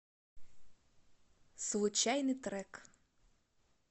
случайный трек